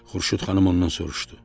Xurşud xanım ondan soruşdu: